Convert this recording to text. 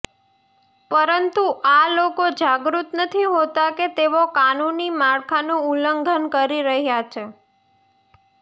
પરંતુ આ લોકો જાગૃત નથી હોતા કે તેઓ કાનૂની માળખાનું ઉલ્લંઘન કરી રહ્યાં છે